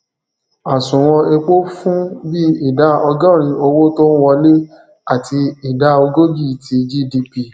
àsùnwòn epo fún bi ìdá ọgọrin owó tó ń wọlé àti ìdá ogójì ti gdp